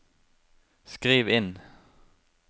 skriv inn